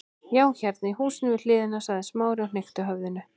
Já, hérna í húsinu við hliðina- sagði Smári og hnykkti höfðinu.